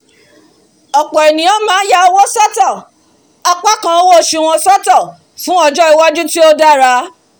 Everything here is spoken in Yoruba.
ọ̀pọ̀ ènìyàn máá ya owó sọ́tọ̀ apá kan owó osù wọn sọ́tọ̀ fún ọjọ́ iwájú tó dára